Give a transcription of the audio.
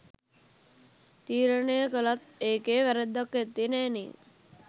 තීරණය කළත් ඒකෙ වැ‍රැද්දක් ඇත්තේ නෑනේ